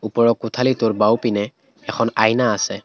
ওপৰৰ কোঠালীটোৰ বাওঁ পিনে এখন আইনা আছে।